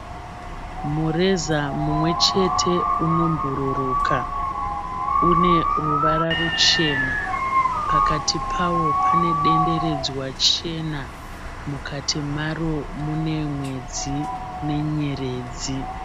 Mureza mumwechete unobhuruka. Une ruvara ruchena. Pakati pawo pane denderedzwa chena. Mukati maro mune mwedzi nenyeredzi.